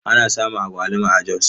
Ana samun agwaluma a Jos.